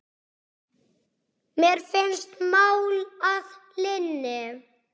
Mér finnst mál að linni.